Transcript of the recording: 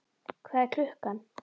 Hvað er klukkan?